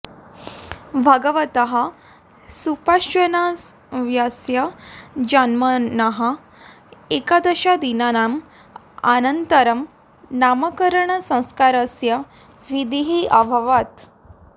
भगवतः सुपार्श्वनाथस्य जन्मनः एकादशदिनानाम् अनन्तरं नामकरणसंस्कारस्य विधिः अभवत्